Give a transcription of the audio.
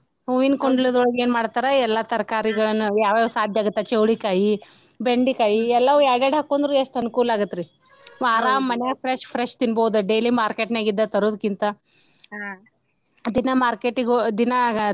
ಹೂವಿನ ಕುಂಡ್ಲೇದೊಳಗ ಏನ ಮಾಡ್ತಾರ ಎಲ್ಲಾ ತರಕಾರಿಗಳನ್ನ ಯಾವ ಯಾವ ಸಾದ್ಯ ಆಗುತ್ತ ಚವಳಿಕಾಯಿ, ಬೆಂಡಿಕಾಯಿ ಈ ಎಲ್ಲಾವು ಯಾಡ್ಯಾಡ ಹಾಕೊಂಡ್ರು ಎಷ್ಟ್ ಅನುಕೂಲ ಆಗುತ್ರಿ ಆರಾಮ ಮನ್ಯಾಗ fresh fresh ತಿನ್ಬಹುದ daily market ನ್ಯಾಗಿಂದ ತರೋಕ್ಕಿಂತ ದಿನಾ market ದಿನಾ.